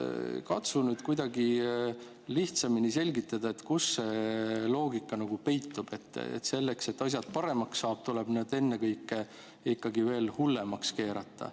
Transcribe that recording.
Katsu nüüd kuidagi lihtsamini selgitada, kus see loogika siin peitub: selleks, et asjad paremaks saada, tuleb need ennekõike hullemaks keerata.